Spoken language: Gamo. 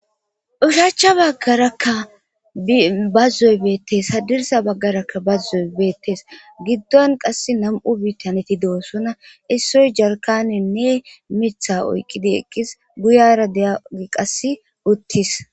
Ushaachcha baggarakka bazzoy beettes hadirsa baggarakka bazzoy beettes giddon qass nam7u biitaneti doosona issoy jalkani ne mitha oyqqidi eqqis guyara deyagi qass uttis.